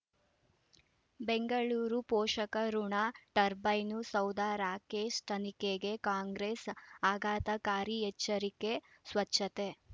ಬೆಂಗಳೂರು ಪೋಷಕಋಣ ಟರ್ಬೈನು ಸೌಧ ರಾಕೇಶ್ ತನಿಖೆಗೆ ಕಾಂಗ್ರೆಸ್ ಆಘಾತಕಾರಿ ಎಚ್ಚರಿಕೆ ಸ್ವಚ್ಛತೆ